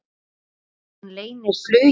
Og hún leynir flugi sínu.